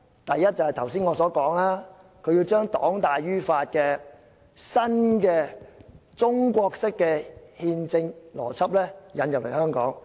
第一，正如我剛才所說，要把黨大於法的新中國式憲政邏輯引入香港。